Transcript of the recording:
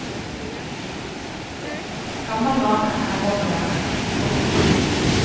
Gammel vane er vond å vende. punktum